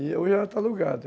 E hoje ela está alugada.